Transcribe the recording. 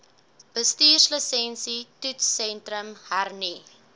bestuurslisensie toetssentrum hernu